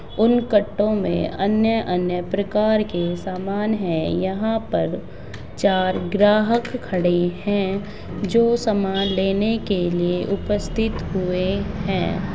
उन कट्टो में अन्य अन्य प्रकार के सामान है यहां पर चार ग्राहक खड़े है जो समान लेने के लिए उपस्थित हुए है।